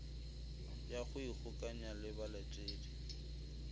ya go ikgokanya le balatedi